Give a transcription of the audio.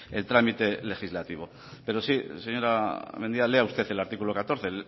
el trámite legislativo pero sí señora mendia lea usted el artículo catorce